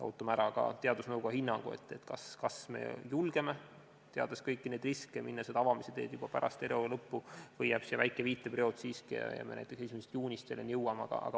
Ootame ära teadusnõukoja hinnangu, kas me julgeme, teades kõiki neid riske, minna seda avamise teed juba pärast eriolukorra lõppu või jääb siiski väike viitperiood ja me jõuame selleni näiteks 1. juunist.